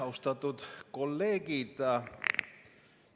Austatud kolleegid!